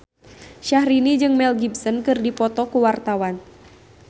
Syahrini jeung Mel Gibson keur dipoto ku wartawan